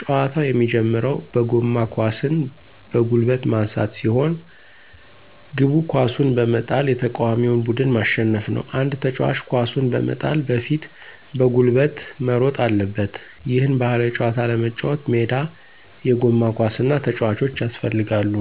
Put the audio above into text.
ጨዋታው የሚጀምረው በጎማ ኳስን በጉልበት ማንሳት ሲሆን፤ ግቡ ኳሱን በመጣል የተቃዋሚውን ቡድን ማሸነፍ ነው። አንድ ተጫዋች ኳሱን በመጣል በፊት በጉልበት መሮጥ አለበት። ይህን ባህላዊ ጨዋታ ለመጫወት ሜዳ፣ የጎማ ኳስ እና ተጫዋቾች ያስፈልጋሉ።